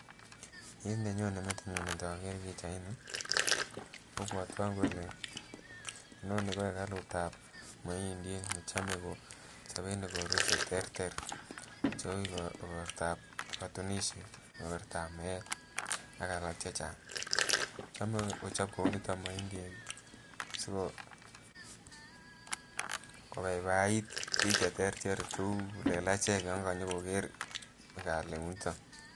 Kit nenyone metinyu inokere pichaini kobwotwon kole inoni ko ekalut ab moindii nechome kochoben ikorwe cheterter chebo igortab kotunishet, igortab meet ak alak chechang , chome kochob kouniton moindiik sikobaibai bik cheterter tuukul che kiplelachek yon konyokoker ekalut niton